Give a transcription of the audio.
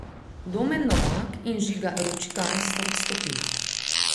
Domen Novak in Žiga Ručigaj sta odstopila.